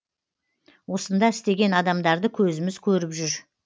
осында істеген адамдарды көзіміз көріп жүр